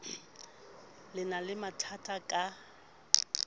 le na le mathatha ka